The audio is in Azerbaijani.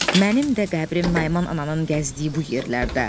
Mənim də qəbrim Naiman ananın gəzdiyi bu yerlərdə.